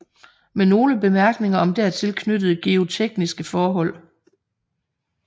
Med nogle Bemærkninger om dertil knyttede geotekniske Forhold